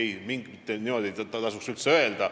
Ei, niimoodi ei tasuks üldse öelda.